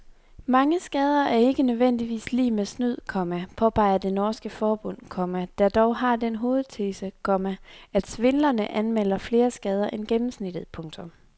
Mange skader er ikke nødvendigvis lig med snyd, komma påpeger det norske forbund, komma der dog har den hovedtese, komma at svindlerne anmelder flere skader end gennemsnittet. punktum